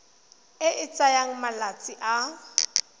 e e tsayang malatsi a